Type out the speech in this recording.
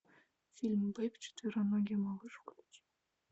фильм бэйб четвероногий малыш включи